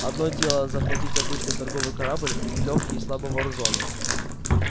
одно дело захватить обычный торговый корабль лёгкий и слабо вооружённый